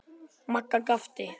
Magga gapti.